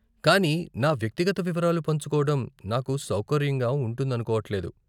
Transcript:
కానీ నా వ్యక్తిగత వివరాలు పంచుకోడం నాకు సౌకర్యంగా ఉంటుందనుకోవట్లేదు.